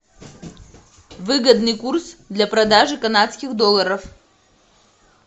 выгодный курс для продажи канадских долларов